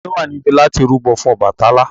Ta ni ó wà níbí láti rúbọ fún Ọbàtálá?